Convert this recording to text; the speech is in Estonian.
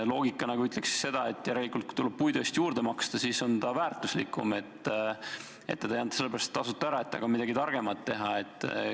Loogika nagu ütleks, et järelikult, kui puidu eest tuleb juurde maksta, siis on ta väärtuslikum, teda ei anta sellepärast tasuta ära, et temaga on midagi targemat teha.